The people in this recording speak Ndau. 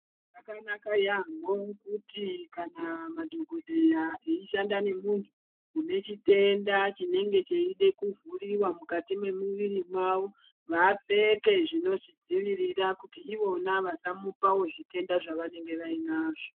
Zvakanaka yamho kuti kana madhokodheya eyi shanda ne muntu une chitenda chinenge cheide ku vhuriwa mukati me muviri mavo vapfeke zvinozvi dzivirira kuti ivona vasa mupawo zvitenda zvava nenge vai nazvo.